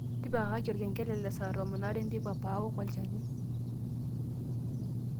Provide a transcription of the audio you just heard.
tipikakaki olkengele le saa tomon are enteipa pawok olchani